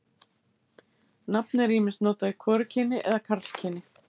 Nafnið er ýmist notað í hvorugkyni eða karlkyni.